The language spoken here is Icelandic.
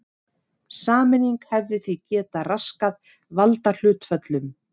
Sameining hefði því getað raskað valdahlutföllum.